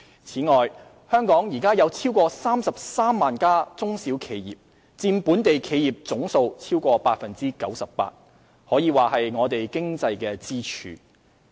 此外，香港現時有超過33萬家中小企業，佔本地企業總數逾 98%， 可說是我們經濟的支柱。